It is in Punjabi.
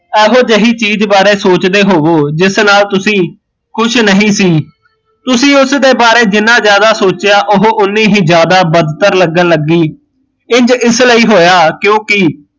ਇਹੋ ਜਹੀ ਚੀਜ਼ ਬਾਰੇ ਸੋਚਦੇ ਹੋਵੋ ਜਿਸ ਨਾਲ਼ ਤੁਸੀਂ ਕੁਸ਼ ਨਹੀਂ ਸੀ ਤੁਸੀਂ ਉਸ ਦੇ ਬਾਰੇ ਜਿੰਨਾ ਜਿਆਦਾ ਸੋਚਿਆ ਉਹ ਓਨੀ ਹੀਂ ਜਿਆਦਾ ਬਤਤਰ ਲੱਗਣ ਲੱਗੀ, ਇੰਜ ਇਸ ਲਈ ਹੋਇਆ ਕਿਓਕਿ